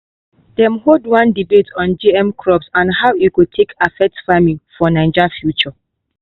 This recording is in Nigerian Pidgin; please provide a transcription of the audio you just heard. dem hold one debate on gm crops and how e go take affect farming for naija future.